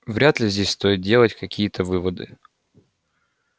вряд ли здесь стоит делать какие-то выводы